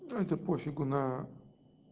это пофигу на